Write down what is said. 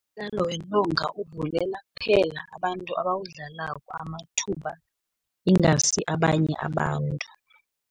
Umdlalo wentonga uvulela kuphela abantu abawudlalako amathuba, ingasi abanye abantu.